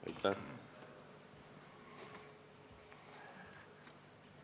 Aitäh!